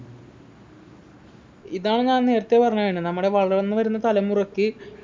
ഇതാണ് ഞാൻ നേരത്തെ പറഞ്ഞത് നമ്മളെ വളർന്നു വരുന്ന തലമുറക്ക്